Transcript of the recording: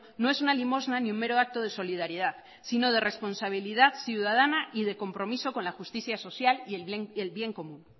no es una limosna ni un mero acto de solidaridad sino de responsabilidad ciudadana y de compromiso con la justicia social y el bien común